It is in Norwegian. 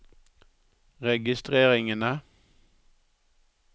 registreringene